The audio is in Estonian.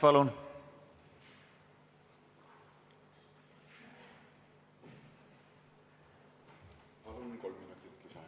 Lauri Läänemets, palun!